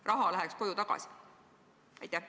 Raha läheks koju tagasi.